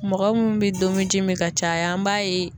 Mɔgɔ mun bɛ domiji min ka caya an b'a ye